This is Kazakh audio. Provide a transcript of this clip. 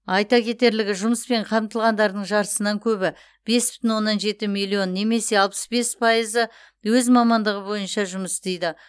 айта кетерлігі жұмыспен қамтылғандардың жартысынан көбі бес бүтін оннан жеті миллион немесе алпыс бес пайызы өз мамандығы бойынша жұмыс істейді